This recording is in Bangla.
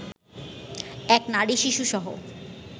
এক নারী-শিশুসহ